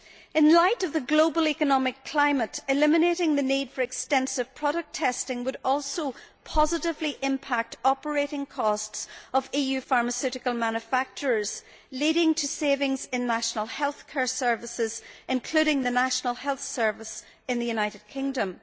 In the light of the global economic climate, eliminating the need for extensive product testing would also positively impact the operating costs of EU pharmaceutical manufacturers, leading to savings in national health care services, including the National Health Service in the United Kingdom.